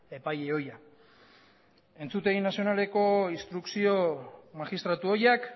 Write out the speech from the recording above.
epaile ohia entzutegi nazionaleko instrukzio magistratu ohiak